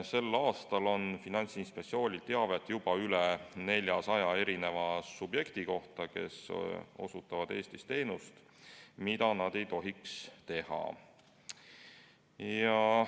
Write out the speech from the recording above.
Sel aastal on Finantsinspektsioonil teavet juba rohkem kui 400 subjekti kohta, kes osutavad Eestis teenust, mida nad ei tohiks osutada.